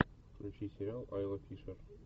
включи сериал айла фишер